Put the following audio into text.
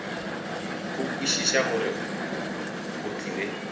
go kwešiša gore go tlile